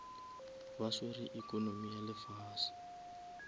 ba swere economy ya lefase